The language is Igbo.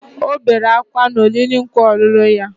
Ọ bere ákwá na oriri nkwa ọlụlụ ya